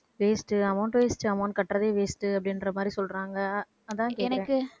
waste amount waste amount கட்றதே waste உ அப்படின்ற மாதிரி சொல்றாங்க அதான் கேட்டேன்